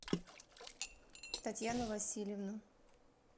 татьяну васильевну